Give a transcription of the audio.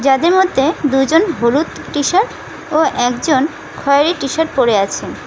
এদের মধ্যে দুজন হলুদ টিশার্ট ও একজন খয়েরী টিশার্ট পরে আছেন।